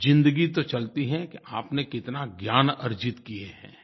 ज़िंदगी तो चलती है कि आपने कितना ज्ञान अर्जित किया है